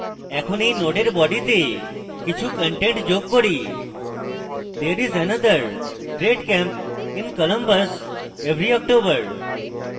এখন body নোডের বডিতে কিছু content যোগ bodythere is another great camp in columbus every october